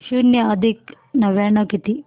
शून्य अधिक नव्याण्णव किती